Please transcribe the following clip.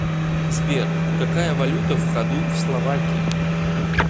сбер какая валюта в ходу в словакии